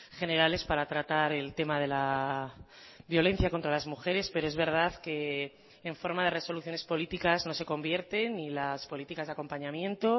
generales para tratar el tema de la violencia contra las mujeres pero es verdad que en forma de resoluciones políticas no se convierten ni las políticas de acompañamiento